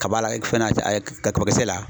Kabala fɛn na kaba kisɛ la.